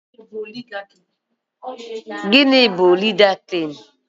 Gịnị bụ Oligaki?